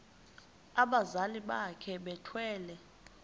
abazali bakhe bethwele